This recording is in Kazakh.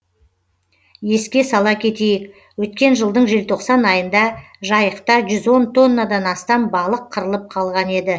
еске сала кетейік өткен жылдың желтоқсан айында жайықта жүз он тоннадан астам балық қырылып қалған еді